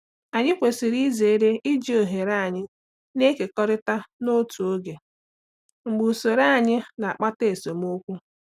Anyị kwesịrị izere iji oghere anyị na-ekekọrịta n'otu oge mgbe usoro anyị na-akpata esemokwu.